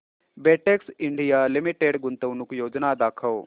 Betex India limited गुंतवणूक योजना दाखव